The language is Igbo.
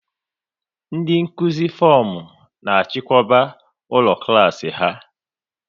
Ndị Nkụzi fomu na achiko ụlọ klas ha